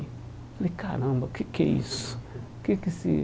Eu falei, caramba, o que que é isso? Que que esse